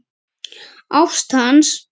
Ást hans.